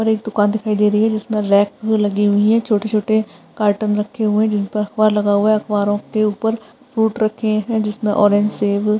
और एक दुकान दिखाई दे रही है जिसमे रेक भी लगी हुई है छोटे-छोटे कार्टून रखे हुए है जिनपे अखबार लगा हुआ है अखबारों के ऊपर फ्रूट रखे है जिसमे ऑरेंज सेब --